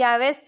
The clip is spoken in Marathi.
यावेळेस